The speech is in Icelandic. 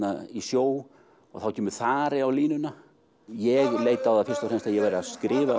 í sjó og þá kemur þari á línuna ég leit á það fyrst og fremst að ég væri að skrifa